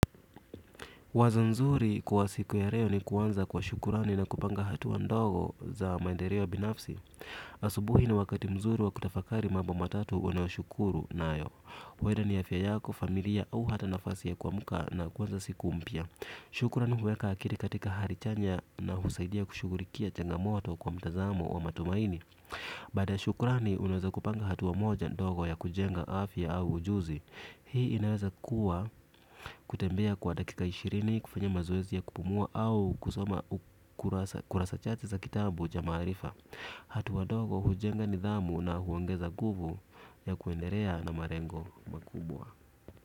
Wazo nzuri kwa siku ya leo ni kuanza kwa shukurani na kupanga hatua ndogo za maendeleo binafsi. Asubuhi ni wakati mzuri wa kutafakari mambo matatu unayoshukuru nayo. Huenda ni afya yako, familia au hata nafasi ya kuamka na kuanza siku mpya. Shukrani huweka akili katika hali chanya na husaidia kushughulikia changamoto kwa mtazamo wa matumaini. Baada ya shukrani unaweza kupanga hatua moja ndogo ya kujenga afya au ujuzi. Hii inaweza kuwa kutembea kwa dakika ishirini, kufanya mazoezi ya kupumua au kusoma. Kurasa chache za kitabu cha maarifa. Hatua ndogo hujenga nidhamu na huongeza nguvu ya kuendelea na malengo makubwa.